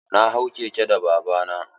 Na hau keke da baba na.